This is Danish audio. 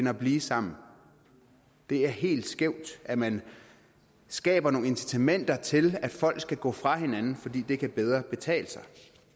at blive sammen det er helt skævt at man skaber nogle incitamenter til at folk skal gå fra hinanden fordi det bedre kan betale sig